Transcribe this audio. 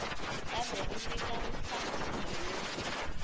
kambe ri nyika nhlamuselo yo